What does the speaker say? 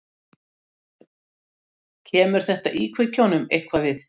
Kemur þetta íkveikjunum eitthvað við?